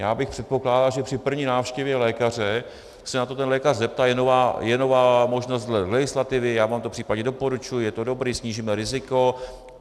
Já bych předpokládal, že při první návštěvě lékaře se na to ten lékař zeptá: je nová možnost legislativy, já vám to případně doporučuji, je to dobré, snížíme riziko.